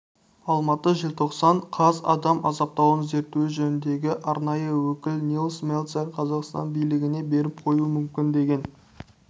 алматы желтоқсан қаз адам азаптауын зерту жөніндегі арнайы өкілінильс мельцер қазақстан билігіне беріп қоюы мүмкін деген